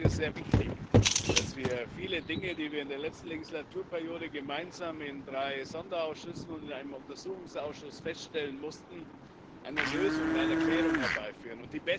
Ich halte es für sehr wichtig, dass wir für viele Dinge, die wir in der letzten Legislaturperiode gemeinsam in drei Sonderausschüssen und in einem Untersuchungsausschuss feststellen mussten, eine Lösung, eine Klärung, herbeiführen.